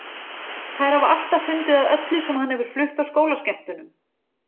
Þær hafa alltaf fundið að öllu sem hann hefur flutt á skólaskemmtunum.